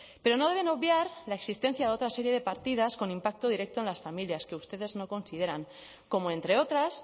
pero no deben obviar la existencia de otra serie de partidas con impacto directo en las familias que ustedes no consideran como entre otras